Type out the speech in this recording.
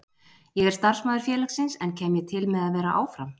Ég er starfsmaður félagsins, en kem ég til með að vera áfram?